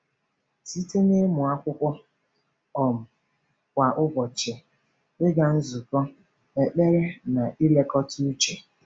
Site n’ịmụ akwụkwọ um kwa ụbọchị, ịga nzukọ, ekpere, na nlekọta uche.